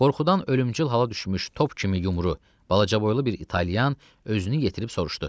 Qorxudan ölümcül hala düşmüş top kimi yumru, balaca boylu bir italyan özünü yetirib soruşdu.